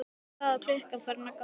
Þá er klukkan farin að ganga níu.